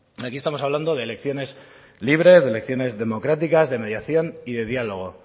aquí estamos hablando de elecciones libres de elecciones democráticas de mediación y de diálogo